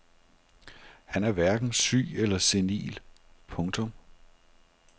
Han er hverken syg eller senil. punktum